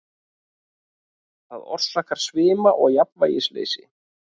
Það orsakar svima og jafnvægisleysi.